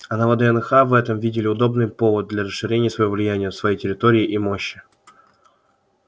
а на вднх в этом видели удобный повод для расширения своего влияния своей территории и мощи